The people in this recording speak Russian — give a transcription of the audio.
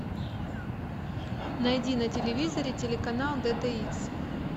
найди на телевизоре телеканал д д икс